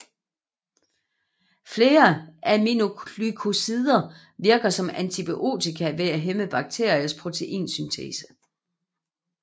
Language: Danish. Flere aminoglykosider virker som antibiotika ved at hæmme bakteriers proteinsyntese